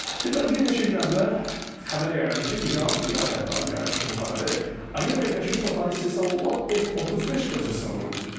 Deməli, bir neçə gün əvvəl xəbər yayıldı ki, İran, İran tərəfi yaymışdı bu xəbəri, Amerika Birləşmiş Ştatları istehsalı olan F-35 qırıcısını vurub.